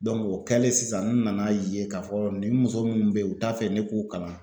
Dɔnku o kɛlen sisan n nana ye k'a fɔ nin muso munnu be ye u t'a fɛ ne k'u kalan